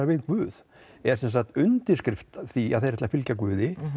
við Guð eða sem sagt undirskrift því að þeir ætli að fylgja Guði